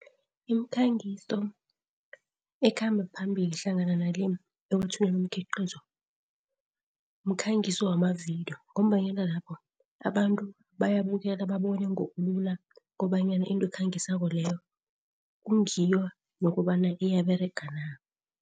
Imikhangiso ekhamba phambili hlangana nale ekwethuleni umkhiqizo, mkhangiso wamavidiyo ngombanyana lapho abantu bayabukela babone ngobulula kobanyana into ekhangiswako leyo kungiyo nokobana iyaberega na?